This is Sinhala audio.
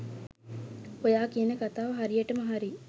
ඔයා කියන කතාව හරියටම හරි